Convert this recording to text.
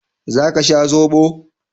Za ka sha zoɓo?